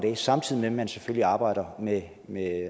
samtidig med at man selvfølgelig arbejder med